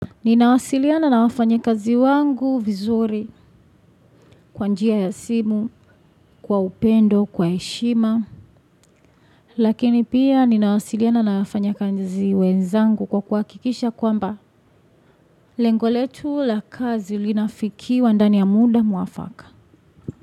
Ninawasiliana na wafanyakazi wangu vizuri kwa njia ya simu, kwa upendo, kwa heshima, lakini pia ninawasiliana na wafanya kazi wenzangu kwa kuakikisha kwamba lengo letu la kazi linafikiwa ndani ya muda mwafaka.